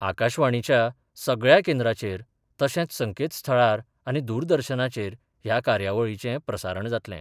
आकाशवाणीच्या सगळ्या केंद्राचेर तशेच संकेतस्थळार आनी दूरदर्शनाचेर ह्या कार्यावळीचें प्रसारण जातले.